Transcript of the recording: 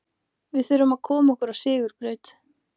Við þurfum að koma okkur á sigurbraut.